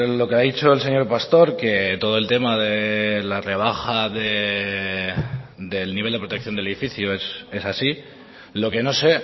lo que ha dicho el señor pastor que todo el tema de la rebaja del nivel de protección del edificio es así lo que no sé